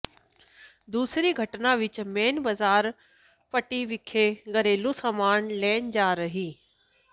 ਦੂਸਰੀ ਘਟਨਾ ਵਿਚ ਮੇਨ ਬਜ਼ਾਰ ਪੱਟੀ ਵਿਖੇ ਘਰੇਲੂ ਸਮਾਨ ਲੈਣ ਜਾ ਰਹੀ